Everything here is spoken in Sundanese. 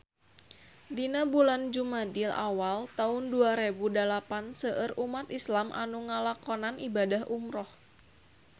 Dina bulan Jumadil awal taun dua rebu dalapan seueur umat islam nu ngalakonan ibadah umrah